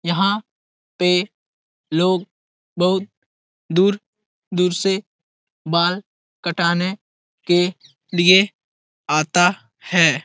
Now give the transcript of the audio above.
यहाँ पे लोग बहुत दूर दूर से बाल कटाने के लिए आता है।